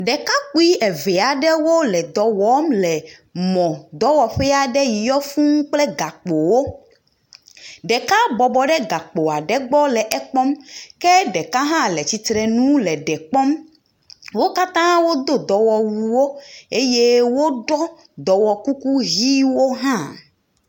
Ɖekakpui eve aɖewo le dɔ wɔm le mɔdɔwɔƒe aɖe yi yɔ fũuu kple gakpowo. Ɖeka bɔbɔ ɖe gakpo aɖe gbɔ le kpɔm ke ɖeka hã le tsitre nu le ɖe kpɔm. Wo katã wodo dɔwɔwuwo eye woɖɔ dɔwɔkuku ʋiwo hã